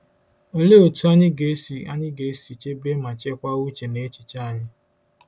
Olee otú anyị ga-esi anyị ga-esi chebe ma chịkwaa uche na echiche anyị?